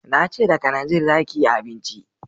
Na ce da kananzir za ki yi abinci